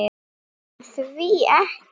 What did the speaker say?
En því ekki?